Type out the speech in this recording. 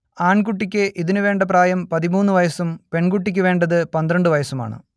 ആൺകുട്ടിക്ക് ഇതിനു വേണ്ട പ്രായം പതിമൂന്ന് വയസ്സും പെൺകുട്ടിക്കു വേണ്ടത് പന്ത്രണ്ട് വയസ്സുമാണ്